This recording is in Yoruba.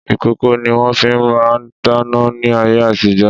Ìkòkò ni wọ́n fi máà ń dáná ní ayé àtijo.